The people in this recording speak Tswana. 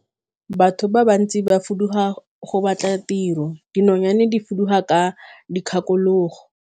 Batho ba bantsi ba fuduga go batla tiro, dinonyane di fuduga ka dikgakologo.